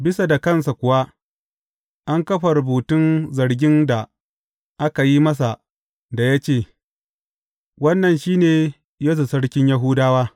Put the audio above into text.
Bisa da kansa kuwa, an kafa rubutun zargin da aka yi masa, da ya ce, Wannan shi ne Yesu Sarkin Yahudawa.